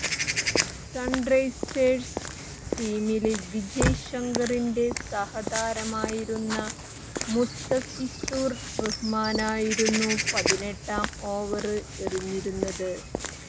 Sunrisers ടീമില് വിജയ് ശങ്കറിന്റെ സഹതാരമായിരുന്ന മുസ്തഫിസുര് റഹ്മാനായിരുന്നു പതിനെട്ടാം ഓവര് എറിഞ്ഞിരുന്നത്